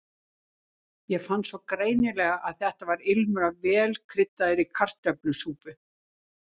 Ég fann svo greinilega að þetta var ilmur af vel kryddaðri kartöflusúpu.